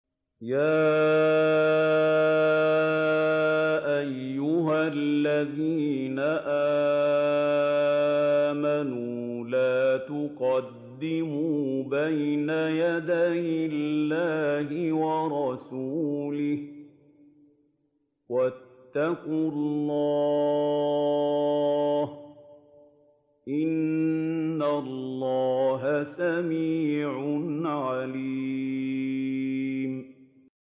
يَا أَيُّهَا الَّذِينَ آمَنُوا لَا تُقَدِّمُوا بَيْنَ يَدَيِ اللَّهِ وَرَسُولِهِ ۖ وَاتَّقُوا اللَّهَ ۚ إِنَّ اللَّهَ سَمِيعٌ عَلِيمٌ